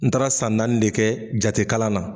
N taara san naani de kɛ jate kalan na.